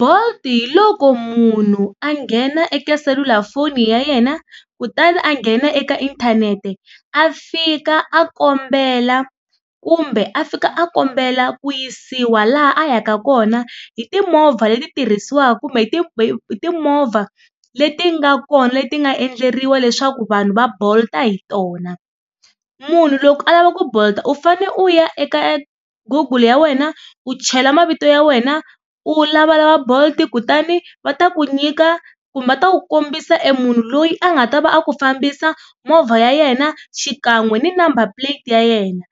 Bolt hi loko munhu a nghena eka selulafoni ya yena kutani a nghena eka inthanete a fika a kombela kumbe a fika a kombela ku yisiwa laha a yaka kona hi timovha leti tirhisiwaka kumbe hi timovha leti nga kona leti nga endleriwa leswaku vanhu va Bolt-a hi tona. Munhu loko a lava ku bolt u fane u ya eka google ya wena u chela mavito ya wena u lavalava bolt kutani va ta ku nyika kumba va ta ku kombisa e munhu loyi a nga ta va a ku fambisa, movha ya yena xikan'we ni number plate ya yena.